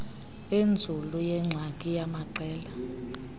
enzulu yengxaki yamaqela